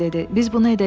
Biz bunu edəcəyik.